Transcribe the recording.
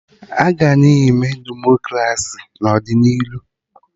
Aga na-eme Demokraci n'ọdịnihu